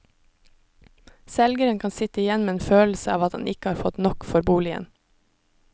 Selgeren kan sitte igjen med en følelse av at han ikke har fått nok for boligen.